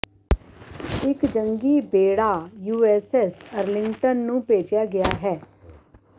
ਇੱਕ ਜੰਗੀ ਬੇੜਾ ਯੂਐੱਸਐੱਸ ਅਰਲਿੰਗਟਨ ਨੂੰ ਭੇਜਿਆ ਗਿਆ ਹੈ